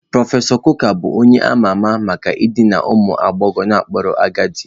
Prọfesọ Coker bụ onye a ma ama maka idina ụmụ agbọghọ n'okpuru agadi